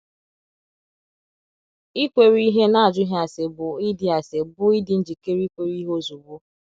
Ikwere ihe n’ajụghị ase bụ ịdị ase bụ ịdị njikere ikwere ihe ozugbo.